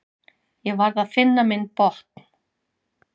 Ég varð að finna minn botn.